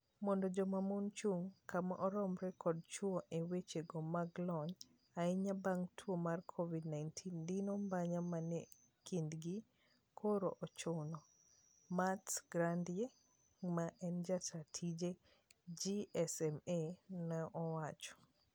"Mondo joma mon chung' kama oromre kod chwo e weche go mag lony, ahinya bang tuo mar Covid-19 dino mbanya menie kindgi koro ochuno. Mats Granyrd ma en jataa tije GSMA neowacho.